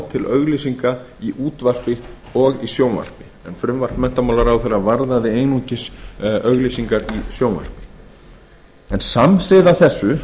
til auglýsinga í útvarpi og í sjónvarpi en frumvarp menntamálaráðherra varðaði einungis auglýsingar í sjónvarpi samhliða þessu